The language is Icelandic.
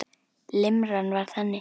Limran var þannig